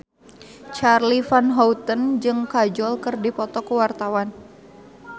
Charly Van Houten jeung Kajol keur dipoto ku wartawan